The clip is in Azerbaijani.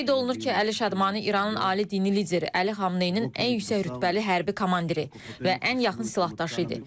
Qeyd olunur ki, Əli Şadmani İranın Ali Dini Lideri Əli Xamneyinin ən yüksək rütbəli hərbi komandiri və ən yaxın silahdaşı idi.